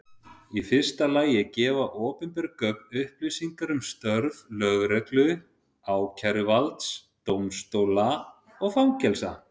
Í fyrsta lagi gefa opinber gögn upplýsingar um störf lögreglu, ákæruvalds, dómstóla og fangelsa.